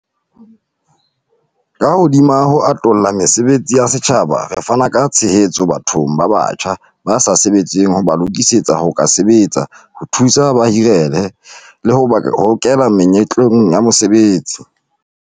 Ka hodima ho atolla mesebetsi ya setjhaba, re fana ka tshehetso bathong ba batjha ba sa sebetseng ho ba lokisetsa ho ka sebetsa, ho thusa hore ba hirehe, le ho ba hokela menyetleng ya mosebetsi.